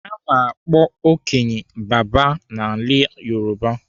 Ana akpọ okenye 'baba' n'ala Yoruba.